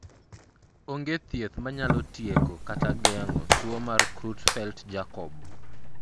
onge thieth manyalo tieko kata geng'o tuo mar Creutzfeldt Jakob